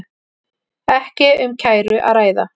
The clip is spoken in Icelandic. Ekki um kæru að ræða